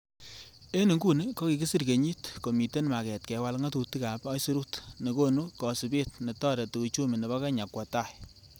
En inguni kokisir kenyit, komiten maget kewal ngatutikab aisurut nekonu kosibet netoreti uchumi nebo kenya kwo tai.